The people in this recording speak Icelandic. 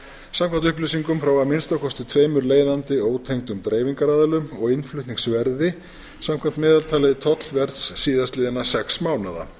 samkvæmt upplýsingum frá að minnsta kosti tveimur leiðandi ótengdum dreifingaraðilum og innflutningsverði samkvæmt meðaltali tollverðs síðastliðinna sex mánaða